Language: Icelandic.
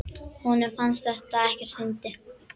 Honum fannst þetta ekkert fyndið.